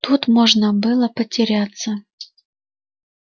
тут можно было потеряться